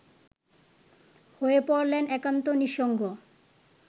হয়ে পড়লেন একান্ত নিঃসঙ্গ